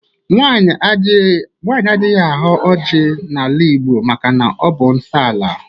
Nwaanyị adịghị aghọ ọjị na-ala Igbo maka na-ọbụ nsọ alụ.